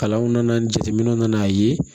Kalanw nana jateminɛw na n'a ye